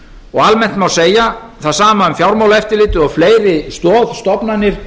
og almennt má segja það sama um fjármálaeftirlitið og fleiri stoðstofnanir